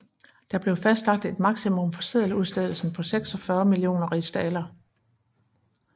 Der blev fastlagt et maksimum for seddeludstedelsen på 46 millioner rigsdaler